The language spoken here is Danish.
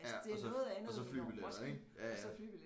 Ja og så og så flybilletter ik ja ja